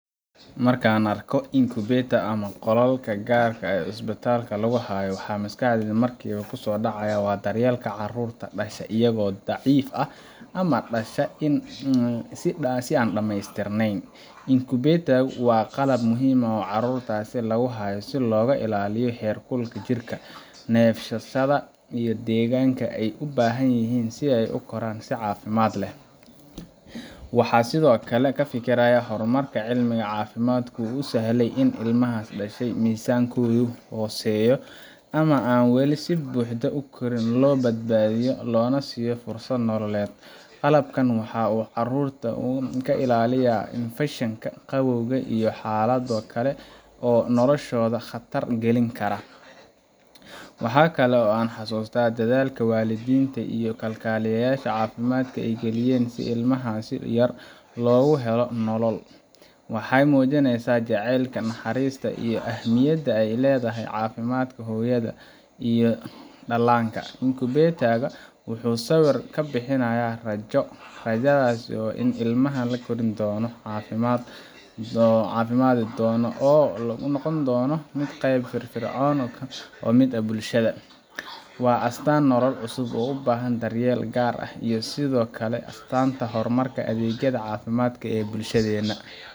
Marka aan arko incubator ama qolalka kulul ee isbitaallada lagu hayo, maskaxdayda waxa markiiba kusoo dhacaya daryeelka carruurta dhasha iyagoo daciif ah ama dhasha si aan dhammaystirneyn. incubator-ka waa qalab muhiim ah oo carruurtaas lagu hayo si loogu ilaaliyo heerkulka jirka, neefsashada, iyo deegaanka ay u baahan yihiin si ay u koraan si caafimaad leh. Waxaan sidoo kale ka fikiraa sida horumarka cilmiga caafimaadku uu u sahlay in ilmaha dhasha miisaankoodu hooseeyo ama aan wali si buuxda u korin, loo badbaadiyo loona siiyo fursad nololeed. Qalabkan waxa uu carruurta ka ilaaliyaa infakshan, qabow, iyo xaalado kale oo noloshooda khatar galin lahaa. Waxa kaloo aan xasuustaa dadaalka waalidiinta iyo kalkaaliyayaasha caafimaadka ay gelinayaan si ilmahaas yar loogu helo nolol. Waxay muujinaysaa jacaylka, naxariista iyo ahmiyadda ay leedahay caafimaadka hooyada iyo dhallaanka. incubator-ka wuxuu sawir ka bixinayaa rajo – rajada ah in ilmaha uu kori doono, caafimaadi doono, oo uu noqon doono qayb firfircoon oo ka mid ah bulshada. Waa astaanta nolol cusub oo u baahan daryeel gaar ah, iyo sidoo kale astaanta horumarka adeegyada caafimaadka ee bulshadeenna.